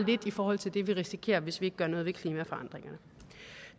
i forhold til det vi risikerer hvis vi ikke gør noget ved klimaforandringerne